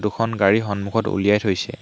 দুখন গাড়ী সন্মুখত উলিয়াই থৈছে।